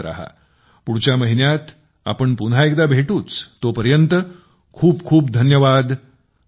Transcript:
पुढच्या महिन्यात आपण पुन्हा एकदा भेटूच तोपर्यंत खूप खूप धन्यवाद नमस्कार